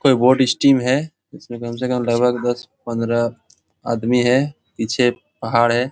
कोई body steam है इसमें कम से कम लगभग दस पंद्रह आदमी है पीछे पहाड़ है।